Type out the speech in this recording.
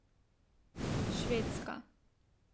Švedska.